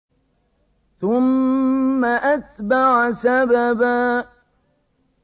ثُمَّ أَتْبَعَ سَبَبًا